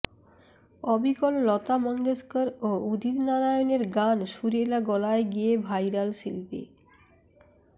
অবিকল লতা মঙ্গেশকর ও উদিত নারায়ণের গান সুরেলা গলায় গেয়ে ভাইরাল শিল্পী